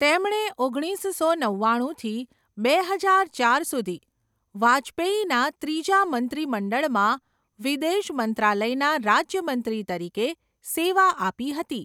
તેમણે ઓગણીસસો નવ્વાણુંથી બે હજાર ચાર સુધી વાજપેયીના ત્રીજા મંત્રીમંડળમાં વિદેશ મંત્રાલયના રાજ્યમંત્રી તરીકે સેવા આપી હતી.